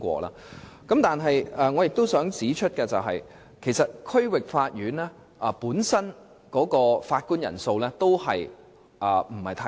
不過，我亦想指出一點，就是區域法院法官的人數也嫌不足。